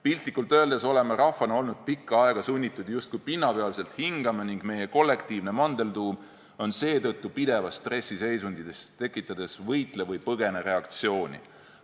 Piltlikult öeldes oleme rahvana olnud pikka aega sunnitud justkui pinnapealselt hingama ning meie kollektiivne mandeltuum on seetõttu pidevas stressiseisundis, tekitades võitle-või-põgene-reaktsiooni.